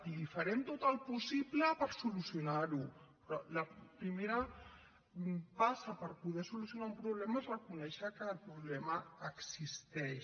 i farem tot el possible per solucionar ho però la primera passa per poder solucionar un problema és reconèixer que el problema existeix